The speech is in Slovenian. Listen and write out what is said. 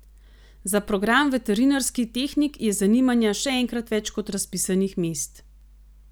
Za program veterinarski tehnik je zanimanja še enkrat več kot razpisanih mest.